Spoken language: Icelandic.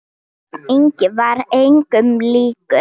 Örn Ingi var engum líkur.